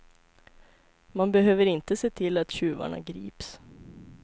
Man behöver inte se till att tjuvarna grips.